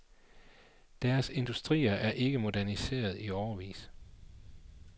Deres industrier er ikke moderniseret i årevis.